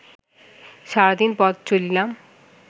sardine পথ চলিতাম